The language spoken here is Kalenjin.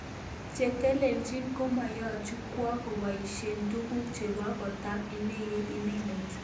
Chetelelchin komoyochi kwo koboishen tuguk chebo kotab idegeit inegen.